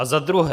A za druhé.